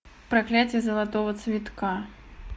проклятье золотого цветка